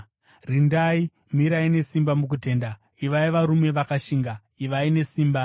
Rindai; mirai nesimba mukutenda; ivai varume vakashinga; ivai nesimba.